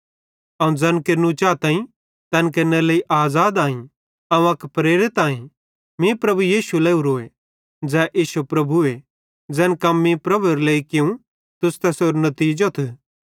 अवं ज़ैन केरनू चाताईं तैन केरनेरे लेइ आज़ाद आई अवं अक प्रेरित आईं मीं प्रभु यीशु लावरोए ज़ै इश्शो प्रभुए ज़ैन कम मीं प्रभुएरे लेइ कियूं तुस तैसेरो नतीजोथ